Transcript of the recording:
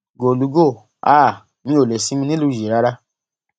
gólùgò háà mi ò lè sinmi nílùú yìí rárá